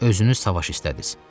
Özünüz savaş istədiniz.